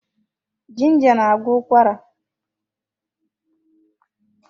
Ginger na-agwọ ụkwara.